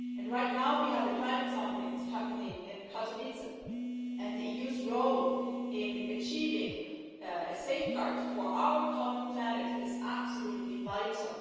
Right now, we have the Climate Summit happening in Katowice, and the EU's role in achieving a safeguard for our common planet is absolutely vital.